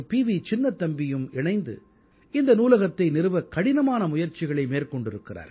சின்னத்தம்பியும் இணைந்து இந்த நூலகத்தை நிறுவக் கடினமான முயற்சிகளை மேற்கொண்டிருக்கிறார்கள்